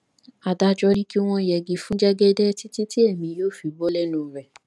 adájọ ni kí wọn yẹgi fún jẹgẹdẹ títí tí èmi yóò fi bò lẹnu rẹ